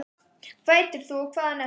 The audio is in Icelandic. hvað heitir þú og hvaðan ertu?